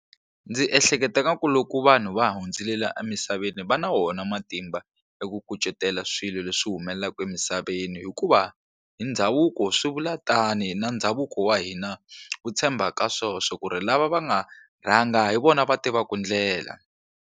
Ndzi ehleketa nga ku loko vanhu va hundzile laha emisaveni va na wona matimba ya ku kucetela swilo leswi humelelaka emisaveni hikuva hi ndhavuko swi vula tani na ndhavuko wa hina wu tshemba ka swona swa ku ri lava va nga rhanga hi vona va tivaka ndlela.